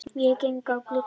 Ég geng að glugganum.